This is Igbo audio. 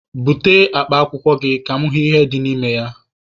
Bute akpa akwụkwọ gị ka mụ hụ ihe dị na ya!